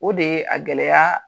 O de ye a gɛlɛya